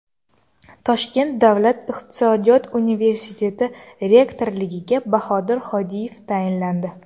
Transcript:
Toshkent Davlat iqtisodiyot universiteti rektorligiga Bahodir Hodiyev tayinlandi .